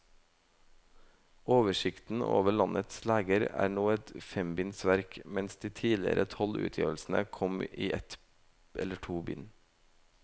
Oversikten over landets leger er nå et fembinds verk, mens de tidligere tolv utgivelsene kom i ett eller to bind.